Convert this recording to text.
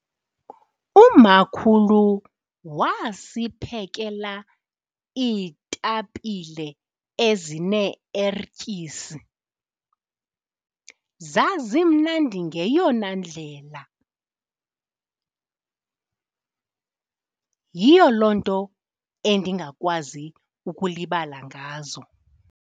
Umakhulu wasiphekela iitapile ezine-ertyisi zazimnandi ngeyona ndlela. Yiyo loo nto endingakwazi ukulibala ngazo.